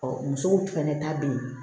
musow fɛnɛ ta bɛ ye